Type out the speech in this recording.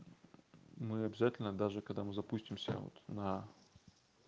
мы обязательно даже когда мы запустимся вот на